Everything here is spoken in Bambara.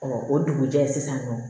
o dugujɛ sisan nɔ